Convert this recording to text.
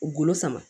Golo sama